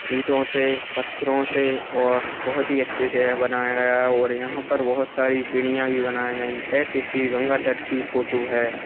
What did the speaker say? ईटो से पत्थरों से और बहुत ही अच्छे से बनाया गया है और यहा पर बहुत सारी सिडिया भी बनाई गई है ये किसी गंगा तट की फोटो है।